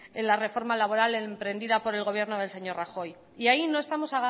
en la reforma laboral emprendida por el gobierno del señor rajoy y ahí no estamos